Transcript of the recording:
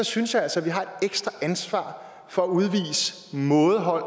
synes jeg altså at vi har et ekstra ansvar for at udvise mådehold